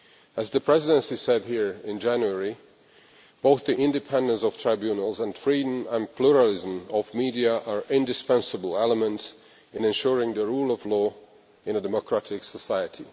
As the Presidency said here in January, both the independence of tribunals and freedom and pluralism of media are indispensable elements in ensuring the rule of law in a democratic society.